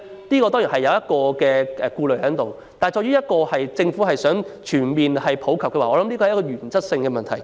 這當然是需要顧慮的一點，但政府若想全面普及，便要解決這原則性問題。